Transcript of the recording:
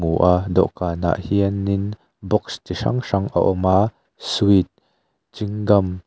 dawhkan ah hianin box chi hrang hrang a awm a sweet chewing gum --